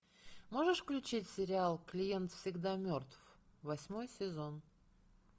можешь включить сериал клиент всегда мертв восьмой сезон